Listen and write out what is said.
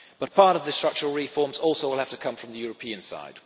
Part of the structural reforms will also have to come from the European side.